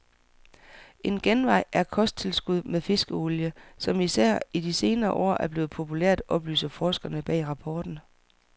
En genvej er kosttilskud med fiskeolie, som især i de senere år er blevet populært, oplyser forskerne bag rapporten.